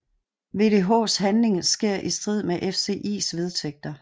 VDHs handling sker i strid med FCIs vedtægter